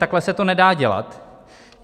Takhle se to nedá dělat.